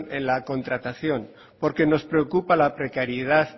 en la contratación porque nos preocupa la precariedad